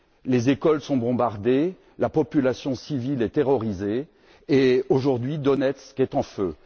les écoles sont bombardées, la population civile est terrorisée et aujourd'hui Donetsk est en feu.